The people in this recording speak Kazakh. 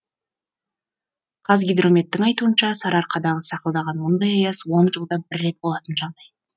қазгидрометтің айтуынша сарыарқадағы сақылдаған мұндай аяз он жылда бір рет болатын жағдай